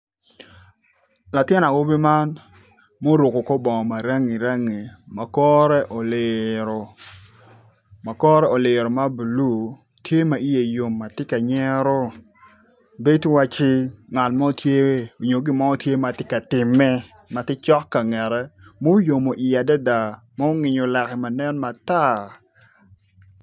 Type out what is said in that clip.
Latin awobi man ma oruko kor bongo ma rangi rangi ma kore oliro, makore oliro ma bulu tye ma iye yo ma tye ka nyero bedo wai iwacci ngat mo tye nyo gin mo tye ka timme ma tye cok ka ngete muyomo iye adada mungenyo lake ma nen matar.